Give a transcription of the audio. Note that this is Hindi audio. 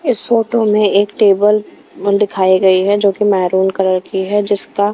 इस फोटो में एक टेबल दिखाई गई है जो कि मैरून कलर की है जिसका--